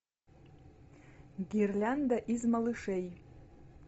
гирлянда из малышей